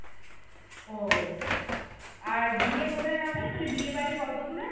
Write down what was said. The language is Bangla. ও আর বিয়ে কোথায় হবে মানে বিয়ে বাড়ি কত দূরে